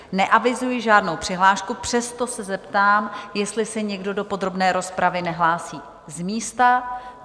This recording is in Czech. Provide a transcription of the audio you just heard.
Neavizuji žádnou přihlášku, přesto se zeptám, jestli se někdo do podrobné rozpravy nehlásí z místa?